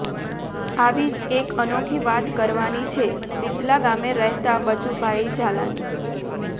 આવી જ એક અનોખી વાત કરવાની છે દિતલા ગામે રહેતા બચુભાઇ ઝાલાની